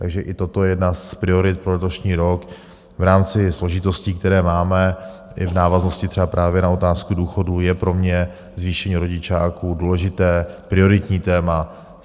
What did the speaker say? Takže i toto je jedna z priorit pro letošní rok v rámci složitostí, které máme i v návaznosti třeba právě na otázku důchodů, je pro mě zvýšení rodičáků důležité prioritní téma.